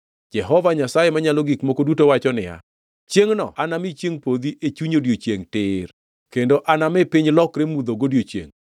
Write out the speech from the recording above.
Jehova Nyasaye Manyalo Gik Moko Duto wacho niya, “Chiengʼno anami chiengʼ podhi e chuny odiechiengʼ tir, kendo anami piny lokre mudho godiechiengʼ.